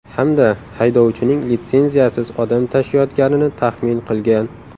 Hamda haydovchining litsenziyasiz odam tashiyotganini taxmin qilgan.